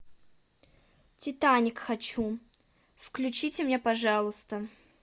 титаник хочу включите мне пожалуйста